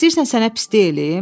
İstəyirsən sənə pislik eləyim?